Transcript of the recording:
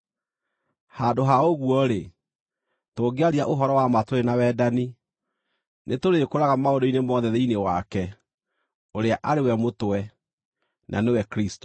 Handũ ha ũguo-rĩ, tũngĩaria ũhoro-wa-ma tũrĩ na wendani, nĩtũrĩkũraga maũndũ-inĩ mothe thĩinĩ wake ũrĩa arĩ we mũtwe, na nĩwe Kristũ.